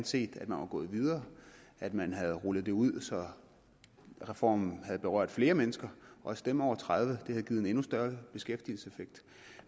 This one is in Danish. set at man var gået videre at man havde rullet det ud så reformen havde berørt flere mennesker også dem over tredive år havde givet en endnu større beskæftigelseseffekt